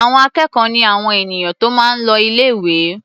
Àwọn akẹ́kọ̀ọ́ ni àwọn ènìyàn tó máa ń l o ilé-ìwé.